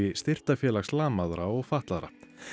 Styrktarfélags lamaðra og fatlaðra